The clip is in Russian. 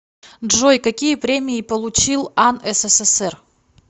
джой какие премии получил ан ссср